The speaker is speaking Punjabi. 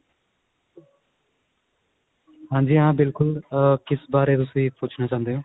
ਹਾਂਜੀ ਹਾਂ ਬਿਲਕੁਲ ਕਿਸ ਬਾਰੇ ਤੁਸੀਂ ਪੁੱਛਣਾ ਚਾਹੁੰਦੇ ਹੋ